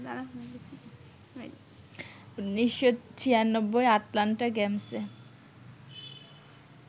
১৯৯৬ Atlanta গেমসে